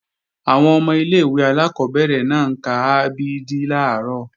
Àwọn ọmọ ilé-ìwé alákọ́bẹ̀rẹ̀ náà ń ka a b d làárọ̀